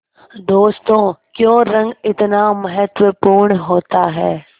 दोस्तों क्यों रंग इतना महत्वपूर्ण होता है